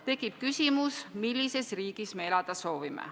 Tekib küsimus, millises riigis me elada soovime.